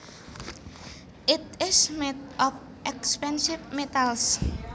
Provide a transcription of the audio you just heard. It is made of expensive metals